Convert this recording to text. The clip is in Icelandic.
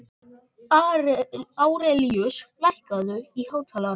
Árelíus, lækkaðu í hátalaranum.